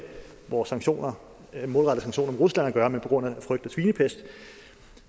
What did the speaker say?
vores målrettede sanktioner mod rusland at gøre men var på grund af frygt for svinepest